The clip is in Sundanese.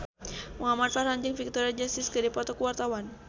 Muhamad Farhan jeung Victoria Justice keur dipoto ku wartawan